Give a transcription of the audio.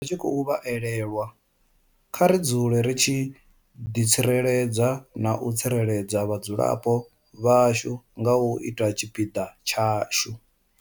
Ri tshi khou vha elelwa, kha ri dzule ri tshi ḓi tsireledza na u tsireledza vhadzulapo vhashu nga u ita tshipiḓa tshashu.